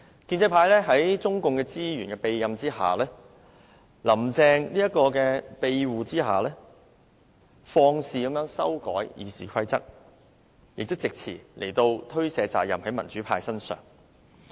建制派在中共資源和"林鄭"的庇護下，肆意修改《議事規則》，並藉詞將責任推卸到民主派身上。